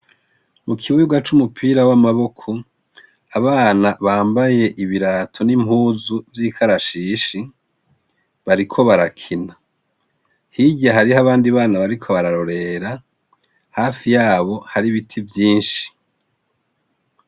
Mukibuga c' umupira w' amaboko, abana bambay' ibirato n' impuzu vyikarashishi, bariko barakina. Hirya harih, abandi bana bariko bararorera, hafi yabo har' ibiti vyinshi.